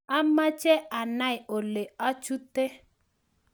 amache anai ole achute